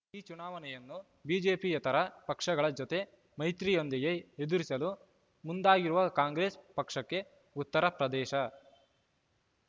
ಈ ಚುನಾವಣೆಯನ್ನು ಬಿಜೆಪಿಯೇತರ ಪಕ್ಷಗಳ ಜತೆ ಮೈತ್ರಿಯೊಂದಿಗೆ ಎದುರಿಸಲು ಮುಂದಾಗಿರುವ ಕಾಂಗ್ರೆಸ್ ಪಕ್ಷಕ್ಕೆ ಉತ್ತರ ಪ್ರದೇಶ